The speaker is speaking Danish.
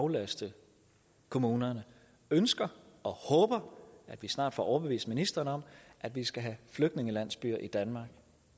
aflaste kommunerne ønsker og håber at vi snart får overbevist ministeren om at vi skal have flygtningelandsbyer i danmark